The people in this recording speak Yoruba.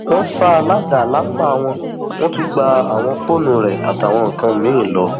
wọn ṣá a ládàá lápá wọn tún gba àwọn fóònù rẹ àtàwọn nǹkan mìín lọ